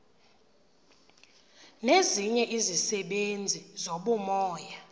nezinye izisebenzi zobumoya